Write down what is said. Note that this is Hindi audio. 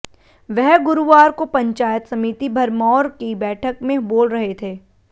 वह गुरुवार को पंचायत समिति भरमौर की बैठक में बोल रहे थे